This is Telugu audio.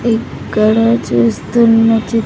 ఇక్కడ చూస్తున్న చి--